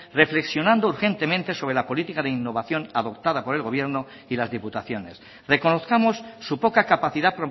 reflexionando urgentemente sobre la política de innovación adoptada por el gobierno y las diputaciones reconozcamos su poca capacidad